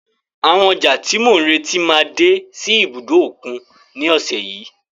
Àwọn ọjà tí mò ń retí máa dé sí ibùdó òkun ní ọ̀sẹ̀ yìí.